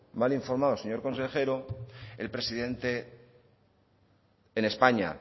mal informado señor consejero el presidente en españa